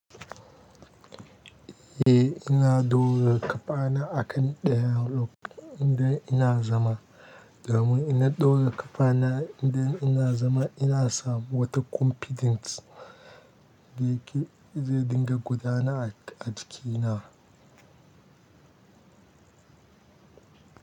Eh, ina ɗora ƙafa na a kan ɗayan lokacin da ina zama. Domin in na ɗora ƙafa na idan ina zama ina samu wata confidence da ke zai dinga gudana a jikina.